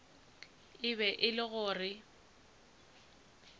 e be e le gore